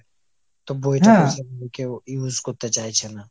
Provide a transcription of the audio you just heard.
তো বই কেউ use করতে চাইছে না।